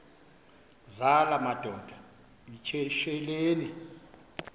zala madoda yityesheleni